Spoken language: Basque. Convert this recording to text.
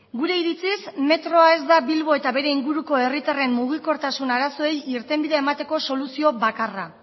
gure iritziz metroa ez da bilbo eta bere inguruko herritarren mugikortasun arazoei irtenbidea emateko soluzio bakarra